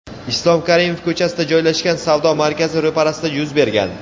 Islom Karimov ko‘chasida joylashgan savdo markazi ro‘parasida yuz bergan.